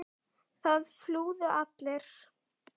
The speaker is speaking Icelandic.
Það flúðu allir.